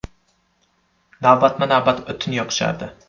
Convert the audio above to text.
Navbatma-navbat o‘tin yoqishardi.